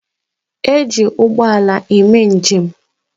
E ji ụgbọala eme njem.